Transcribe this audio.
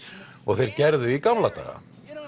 og þeir gerðu í gamla daga